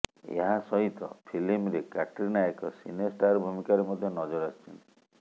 ଏହା ସହିତ ଫିଲ୍ମରେ କ୍ୟାଟ୍ରିନା ଏକ ସିନେ ଷ୍ଟାର ଭୂମିକାରେ ମଧ୍ୟ ନଜର ଆସିଛନ୍ତି